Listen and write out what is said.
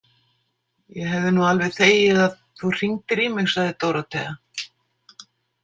Ég hefði nú alveg þegið að þú hringdir í mig, sagði Dórótea.